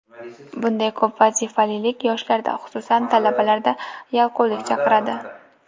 Bunday ko‘p vazifalilik yoshlarda, xususan, talabalarda yalqovlik chaqiradi.